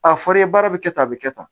A fɔr'i ye baara bɛ kɛ tan a bɛ kɛ tan